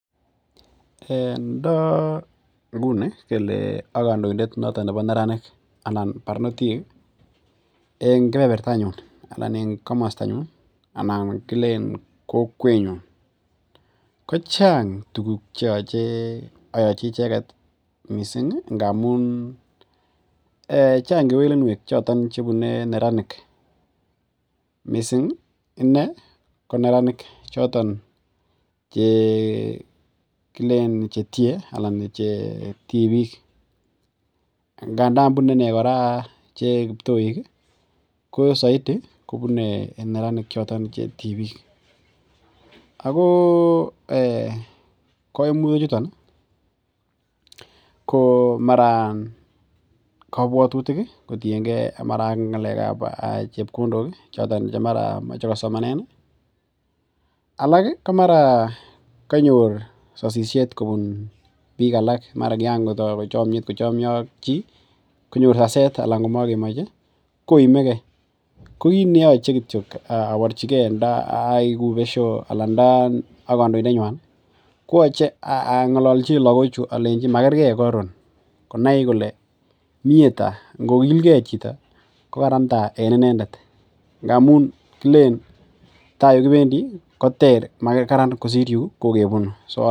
Ndo nguni kele akandoindet nebo barnotik en kebebertanyun ih anan kilen kokwenyon, kochang tuguk chealen ayachi ndamuun Chang kewelinuek chebune neranik. Missing inei ko neranik kilen chetie anan che tibik nganan kibtoik kobune ine kewelinuek. Ako eh kaimutik chuton komara kabuatutik anan mara chebkondok chemae kosoman en ih, alak komara kanyor sasisiet kobun bik alak anan komakemoche anan kanyor saset kokit neache kityo aborchike ko ndai kouu beshia anan kandoindet nyuan koyache ang'alalchi lakochu alenchi magerge karon , mie tai, ngokilge chito ih kokaran tai en inendet, ndamuun tai ungibendi kokraran mauu yuun kikebuni.